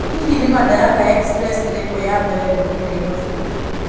hihi nĩ madaraka express ĩrikũ ya mbere gũthiĩ nairobi